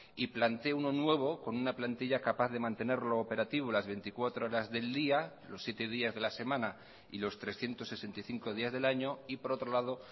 y plantee uno nuevo con una plantilla capaz de mantenerlo operativo las veinticuatro horas del día los siete días de la semana y los trescientos sesenta y cinco días del año y por otro lado